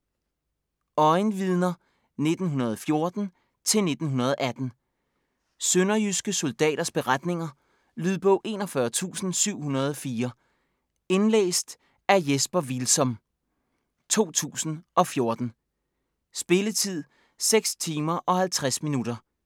Øjenvidner 1914-1918 Sønderjyske soldaters beretninger. Lydbog 41704 Indlæst af Jesper Hvilsom, 2014. Spilletid: 6 timer, 50 minutter.